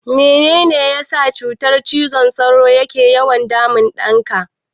Mene ne ya sa cutar cizon sauro ke yawan damun ɗanka?